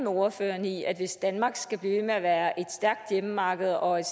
ordføreren i at hvis danmark skal blive ved med at være et stærkt hjemmemarked og et